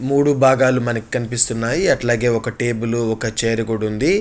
మూడు భాగాలు మనకి కనిపిస్తున్నాయి. అట్లాగే ఒక టేబుల్ ఒక చైరు కూడా ఉంది.